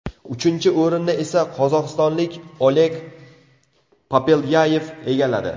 Uchinchi o‘rinni esa qozog‘istonlik Oleg Popelyayev egalladi.